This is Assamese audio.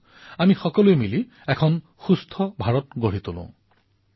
আহক আমি সকলোৱে মিলি এক সুস্থ ভাৰতৰ নিৰ্মাণ কৰো